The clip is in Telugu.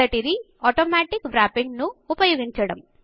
మొదటిది ఆటోమాటిక్ Wrappingఆటో వ్ర్యప్పింగ్ను ఉపయోగించడం